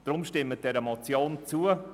Darum: Stimmen Sie der Motion zu.